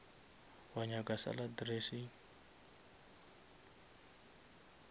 wa nyaka salad dressing